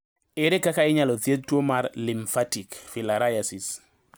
Ere kaka inyalo thiedh tuo mar lymphatic filariasis?